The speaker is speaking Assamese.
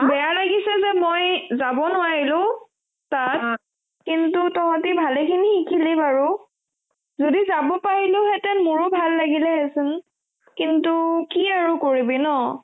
বেয়া লাগিছে যে মই যাব নোৱাৰিলো তাত কিন্তু তহতে ভালে খিনি শিকিলি বাৰো যদি যাব পাৰিলো হেতেন মোৰ ভালে লাগিলে হয় দেছোন কিন্তু কি আৰু কৰিবি ন